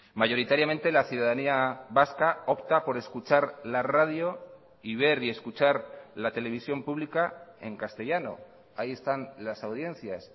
mayoritariamente la ciudadanía vasca opta por escuchar la radio y ver y escuchar la televisión pública en castellano ahí están las audiencias